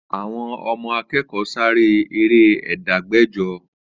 Àwọn ọmọ akẹkọ Sare ere Ẹdẹgbẹjọ